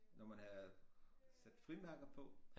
Når man havde sat frimærker på